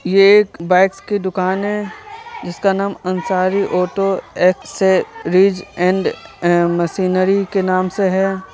ये एक बाइक्स की दुकान है जिसका नाम Ansari auto accessories and machinery के नाम से है।